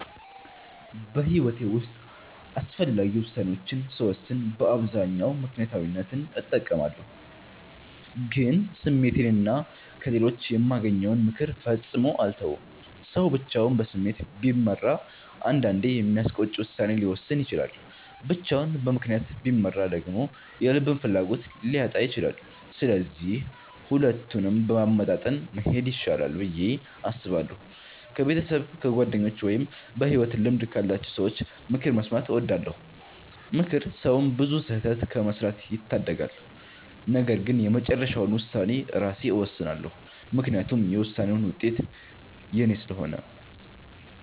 በሕይወቴ ውስጥ አስፈላጊ ውሳኔዎችን ስወስን በአብዛኛው ምክንያታዊነትን እጠቀማለሁ፣ ግን ስሜቴንና ከሌሎች የማገኘውን ምክር ፈጽሞ አልተውም። ሰው ብቻውን በስሜት ቢመራ አንዳንዴ የሚያስቆጭ ውሳኔ ሊወስን ይችላል፤ ብቻውን በምክንያት ቢመራ ደግሞ የልብን ፍላጎት ሊያጣ ይችላል። ስለዚህ ሁለቱንም በማመጣጠን መሄድ ይሻላል ብዬ አስባለሁ። ከቤተሰብ፣ ከጓደኞች ወይም በሕይወት ልምድ ካላቸው ሰዎች ምክር መስማትን እወዳለሁ። ምክር ሰውን ብዙ ስህተት ከመስራት ይታደጋል። ነገር ግን የመጨረሻውን ውሳኔ ራሴ እወስናለሁ፤ ምክንያቱም የውሳኔውን ውጤት የኔ ስለሆነ።